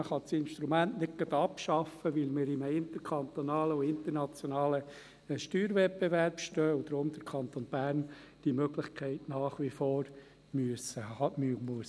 Man kann das Instrument nicht gerade abschaffen, weil wir in einem interkantonalen und internationalen Steuerwettbewerb stehen und der Kanton Bern diese Möglichkeit deshalb nach wie vor haben muss.